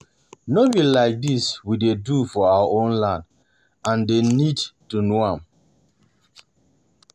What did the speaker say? No be like dis we dey do for our land and dey need to know am